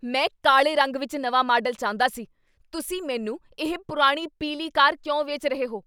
ਮੈਂ ਕਾਲੇ ਰੰਗ ਵਿੱਚ ਨਵਾਂ ਮਾਡਲ ਚਾਹੁੰਦਾ ਸੀ। ਤੁਸੀਂ ਮੈਨੂੰ ਇਹ ਪੁਰਾਣੀ ਪੀਲੀ ਕਾਰ ਕਿਉਂ ਵੇਚ ਰਹੇ ਹੋ?